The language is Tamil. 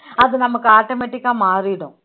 அது நமக்கு automatic ஆ மாறிடும்